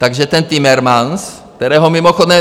Takže ten Timmermans, kterého mimochodem